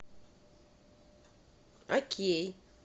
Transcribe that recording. окей